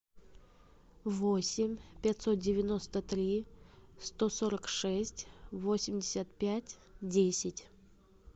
восемь пятьсот девяносто три сто сорок шесть восемьдесят пять десять